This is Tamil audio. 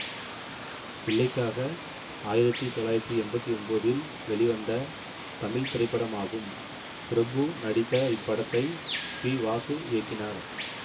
பிள்ளைக்காக ஆயிரத்தி தொள்ளாயிரத்தி எம்பத்தி ஒன்போதில் வெளிவந்த தமிழ் திரைப்படமாகும் பிரபு நடித்த இப்படத்தை பி வாசு இயக்கினார்